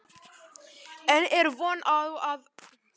En er von á aðgerðum náist ekki viðunandi samningar?